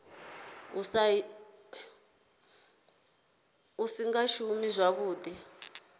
u sa nga shumi zwavhuḓi